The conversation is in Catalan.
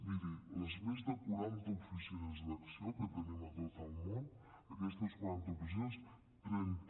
miri les més de quaranta oficines d’acció que tenim a tot el món aquestes quaranta oficines trenta